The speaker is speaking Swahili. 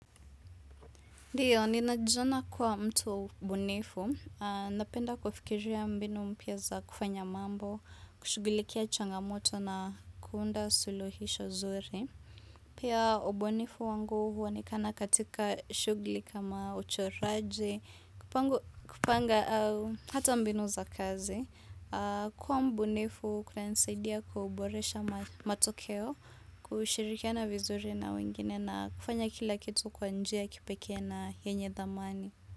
Ndiyo, ninajiona kuwa mtu mbunifu, napenda kufikiria mbinu mpya za kufanya mambo, kushughulikia changamoto na kuunda suluhisho zuri. Pia ubunifu wangu huonekana katika shughuli kama uchoraji, kupanga hata mbinu za kazi. Kuwa mbunifu kunanisaidia kuboresha matokeo kushirikiana vizuri na wengine na kufanya kila kitu kwa njia ya kipeke na yenye dhamani.